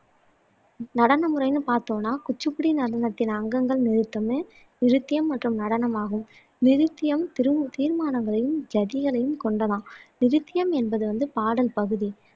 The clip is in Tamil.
நடனமுறைனு பார்த்தோம்னா குச்சிப்பிடி நடனத்தின் அங்கங்கள் நிருத்தம், நிருத்யம் மற்றும் நடனம் ஆகும் நிருத்தம் தீர்மானங்களையும், ஜதிகளையும் கொண்டதாம் நிருத்யம் என்பது வந்து பாடல் பகுதி